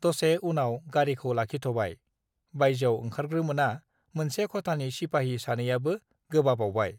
दसे उनाव गारिखौ लाखिथबाय बायजोआव ओंखारग्रोमोना मोनसे खथानि सिपाहि सानैयाबो गोबाबावबाय